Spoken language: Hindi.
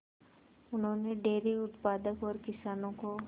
उन्होंने डेयरी उत्पादन और किसानों को